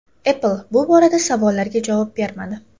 Apple bu borada savollarga javob bermadi.